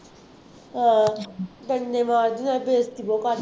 ਅਹ ਡੰਡੇ ਮਾਰਦੀ ਆ ਨਾਲੇ ਬੇਇੱਜ਼ਤੀ ਬਹੁਤ ਕਰਦੀ